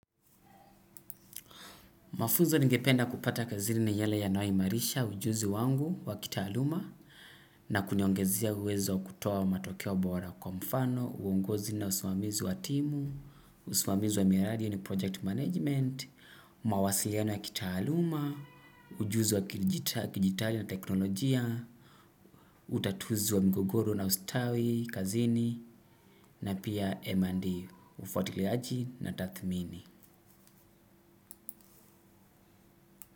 Mafuzo ningependa kupata kazini ni yale yanayo imarisha ujuzi wangu wa kitaaluma na kuniongezea uwezo wa kutoa matokeo bora kwa mfano, uongozi na usimamizi wa timu, usimamizi wa miradi yaani project management, mawasiliano ya kitaaluma, ujuzi wa kilijita, kijitali teknolojia, utatuzi wa mgogoro na ustawi, kazini na pia M&D, ufuatiliaji na tathmini.